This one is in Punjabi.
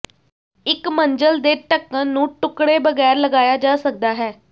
ਇੱਕ ਮੰਜ਼ਲ ਦੇ ਢੱਕਣ ਨੂੰ ਟੁਕੜੇ ਬਗੈਰ ਲਗਾਇਆ ਜਾ ਸਕਦਾ ਹੈ